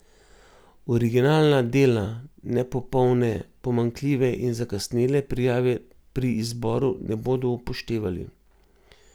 Originalna dela, nepopolne, pomanjkljive in zakasnele prijave pri izboru ne bodo upoštevali.